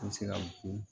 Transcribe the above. An bɛ se ka fɔ ko